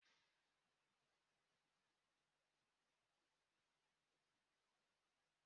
Ụlọahịa mweyi nke a kpọrọ butik bụ ebe a na-azụta ezigbo akwa